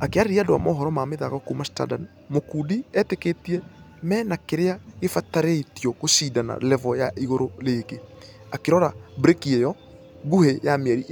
Akĩarĩria andũ a mohoro ma mĩthako kuuma standard mukundi ĩtĩkĩtie menakĩrĩa kĩfatairio gũshidana revo ya igũrũ rĩngĩ. Akĩrora breki ĩyo nguhĩ ya mieri